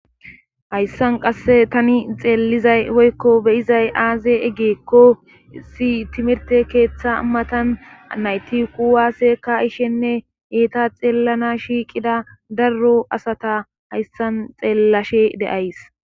hayssan qasse tani xeellizay woykko beyizay aaze eggeekko si timirte keeththa matan nayti kuwaaseka ishenne eeta xeellana shiiqida darro asata hayssan xeellashe deays